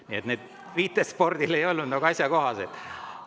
Nii et need viited spordile ei olnud asjakohased.